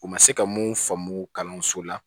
U ma se ka mun faamu kalanso la